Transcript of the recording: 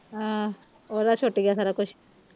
ਹਾਂ ਉਹਦਾ ਛੁੱਟ ਗਿਆ ਸਾਰਾ ਕੁਛ